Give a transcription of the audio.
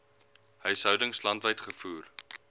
huishoudings landwyd gevoer